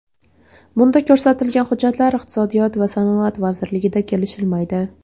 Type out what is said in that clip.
Bunda ko‘rsatilgan hujjatlar Iqtisodiyot va sanoat vazirligida kelishilmaydi.